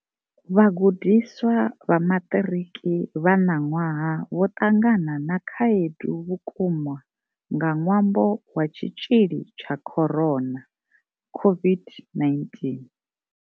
Vha gudiswa vha maṱiriki vha ṋaṅwaha vho ṱangana na khaedu vhukuma nga ṅwambo wa tshitzhili tsha corona COVID-19.